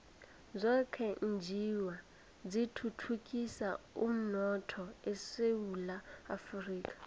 zokwenjiwa zithuthukisa umnotho esewula afrika